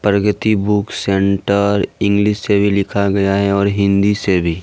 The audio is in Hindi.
प्रगति बुक सेंटर इंग्लिश से भी लिखा गया है और हिंदी से भी।